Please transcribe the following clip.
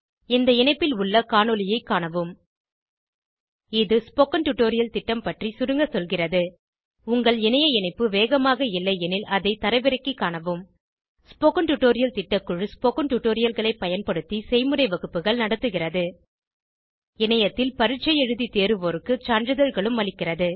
இந்த இணைப்பில் உள்ள காணொளியைக் காணவும் httpspoken tutorialorgWhat is a Spoken Tutorial இது ஸ்போகன் டுடோரியல் திட்டம் பற்றி சுருங்க சொல்கிறது உங்கள் இணைய இணைப்பு வேகமாக இல்லையெனில் அதை தரவிறக்கிக் காணவும் ஸ்போகன் டுடோரியல் திட்டக்குழு ஸ்போகன் டுடோரியல்களைப் பயன்படுத்தி செய்முறை வகுப்புகள் நடத்துகிறது இணையத்தில் பரீட்சை எழுதி தேர்வோருக்கு சான்றிதழ்களும் அளிக்கிறது